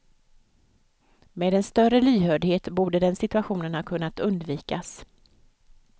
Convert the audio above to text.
Med en större lyhördhet borde den situationen ha kunnat undvikas.